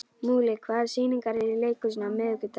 Múli, hvaða sýningar eru í leikhúsinu á miðvikudaginn?